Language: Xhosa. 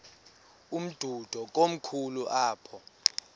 umdudo komkhulu apha